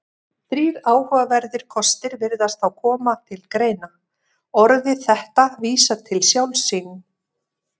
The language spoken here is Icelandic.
Þrír áhugaverðir kostir virðast þá koma til greina: Orðið þetta vísar til sjálfs sín.